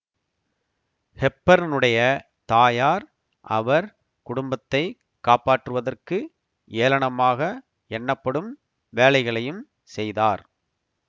ஹெப்பர்னுடைய தாயார் அவர் குடும்பத்தை காப்பாற்றுவதற்கு ஏளனமாக எண்ணப்படும் வேலைகளையும் செய்தார்